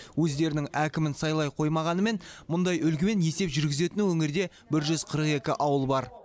өздерінің әкімін сайлай қоймағанымен мұндай үлгімен есеп жүргізетін өңірде бір жүз қырық екі ауыл бар